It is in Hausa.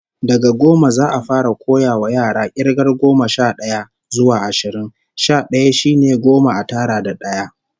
Daga goma, za'a fara koyawa yara k'irgar goma sha d'aya zuwa ashirin. Sha d'aya shine goma a tara da d'aya